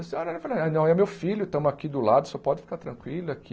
Eu falei, não, é meu filho, estamos aqui do lado, o senhor pode ficar tranquilo aqui.